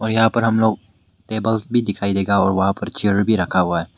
यहां पर हम लोग टेबल्स भी दिखाई देगा और वहां पर चेयर भी रखा हुआ है।